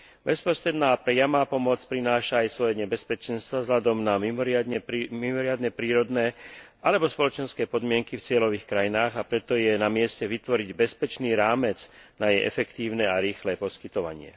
Bezprostredná priama pomoc prináša aj svoje nebezpečenstvo vzhľadom na mimoriadne prírodné alebo spoločenské podmienky v cieľových krajinách, a preto je namieste vytvoriť bezpečný rámec na jej efektívne a rýchle poskytovanie.